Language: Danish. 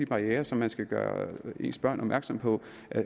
barrierer som man skal gøre ens børn opmærksomme på